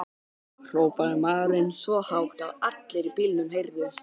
hrópaði maðurinn svo hátt að allir í bílnum heyrðu.